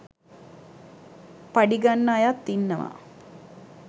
පඩි ගන්න අයත් ඉන්නවා